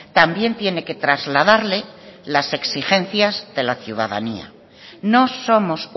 también tiene que trasladarle las exigencias de la ciudadanía no somos